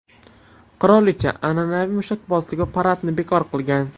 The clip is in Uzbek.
Qirolicha an’anaviy mushakbozlik va paradni bekor qilgan.